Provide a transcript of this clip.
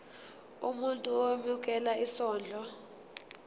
umuntu owemukela isondlo